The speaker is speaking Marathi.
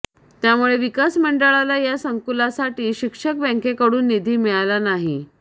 त्यामुळे विकास मंडळाला या संकुलासाठी शिक्षक बँकेकडून निधी मिळाला नाही